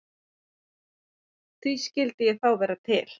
Því skyldi ég þá vera til?